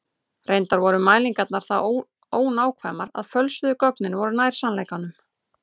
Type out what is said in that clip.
Reyndar voru mælingarnar það ónákvæmar að fölsuðu gögnin voru nær sannleikanum.